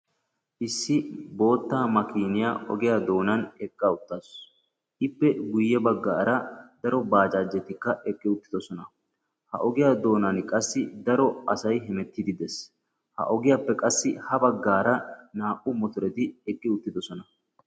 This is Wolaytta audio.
Issi boottaa makkiiniya ogiya doonaani eqqa uttaasu. Ippe guye baggaara daro bajjajettikka eqqi uttiddossona. Ha ogiya doonaani qassi daro asay hemettiidi de"ees. Ha ogiyappe qassi ha baggaara naa"u mottoreti eqqi uttiddossona.